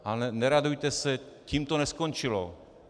Ale neradujte se, tím to neskončilo.